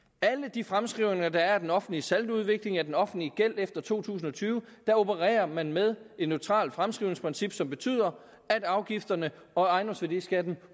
de fremskrivninger der er af den offentlige saldoudvikling af den offentlige gæld efter to tusind og tyve opererer man med et neutralt fremskrivningsprincip som betyder at afgifterne og ejendomsværdiskatten